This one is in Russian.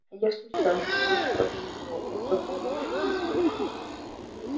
я случайно вышла за него это была ошибка